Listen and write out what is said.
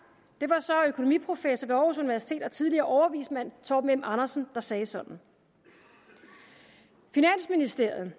det var så økonomiprofessor ved aarhus universitet og tidligere overvismand torben m andersen der sagde sådan finansministeriet